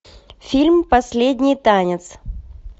фильм последний танец